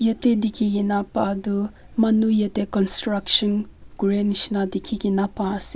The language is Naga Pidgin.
yetey dikhi kena pah du manu yetey construction kurey nishi dikhi kena pai ase.